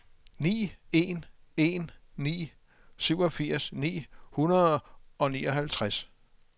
ni en en ni syvogfirs ni hundrede og nioghalvtreds